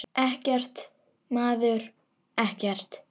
Ekkert, maður, ekkert.